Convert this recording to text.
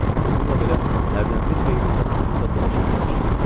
Bununla belə, hərdən bir beynində haqq hesab dolaşmağa başlayırdı.